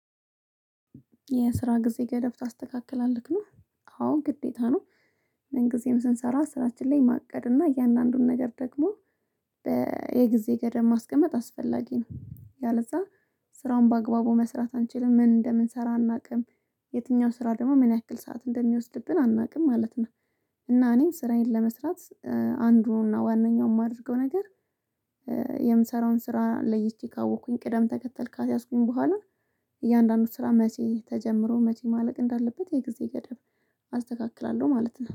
የስራ ጊዜ ገደብ ታስተካክላለህ ልክ ነው አሁን ግዴታ ነው። ምን ጊዜም ስንሰራ ስራችን ላይ ማቀድ እና እያንዳንዱን ነገር ደግሞ። የጊዜ ገደብ ማስቀመጥ አስፈላጊ ነው ያለዛ ስራውን በአግባቡ መስራት አንችልም። ምን እንደምንሰራ አናውቅም የትኛው ስራ ደግሞ ምን ያክል ሰዓት እንደሚወስድብን አናውቅም ማለት ነው። እና እኔም ስራዬን ለመስራት አንዱና ዋናው የማደርገው ነገር። የምሰራውን ስራ ለይቼ ካወቅኩኝ ቅደም ተከተል ካስያዝኩኝ በኋላ እያንዳንዱ ስራ መቼ ተጀምሮ መቼ ማለቅ እንዳለበት የጊዜ ገደብ አስተካክላለሁ ማለት ነው